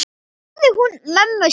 spurði hún mömmu sína.